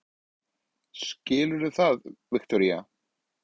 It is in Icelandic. Skilurðu það, Viktoría?